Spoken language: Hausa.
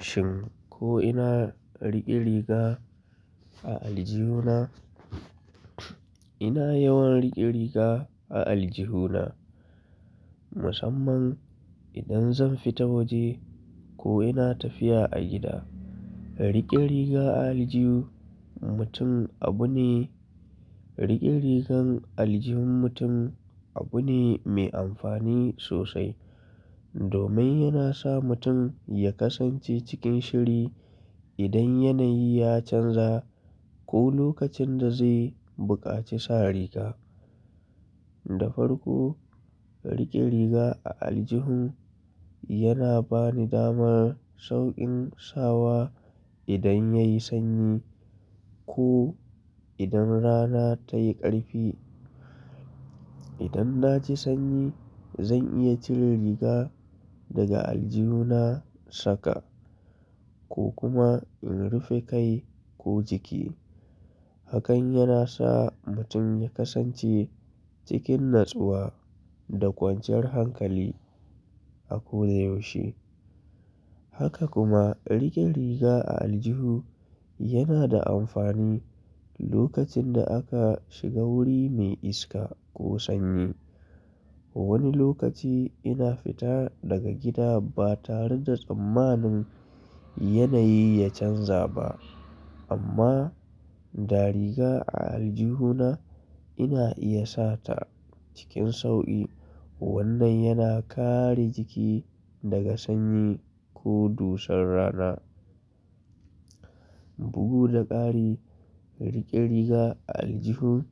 Shin ko ina riƙe riga a aljihuna? Ina yawan riƙe riga a aljihuna musamman idan zan fita waje ko ina tafiya a gida. Riƙe riga a aljihu mutum abu ne, riƙe rigar aljihun mutum abu ne mai amfani sosai domin yana sa mutum ya kasance cikin shiri idan yanayi ya canza ko lokacin da zai buƙaci sa riga. Da farko riƙe riga a aljihun yana bani damar sauƙin sawa idan ya yi sanyi ko idan rana ta yi ƙarfi. Idan na ji sanyi zan iya cire riga daga aljihuna saka ko kuma in rufe kai ko jiki. Hakan yana sa mutum ya kasance cikin natsuwa da kwanciyar hankali a ko da yaushe. Haka kuma riƙe riga a aljihu yana da amfani lokacin da aka shiga wuri mai iska ko sanyi. Wani lokaci ina fita daga gida ba tare da tsammanin yanayi ya canza ba amma da riga a aljihuna ina iya sa ta cikin sauƙi. Wannan yana kare jiki daga sanyi ko dusar rana. Bugu da ƙari riƙe riga a aljihun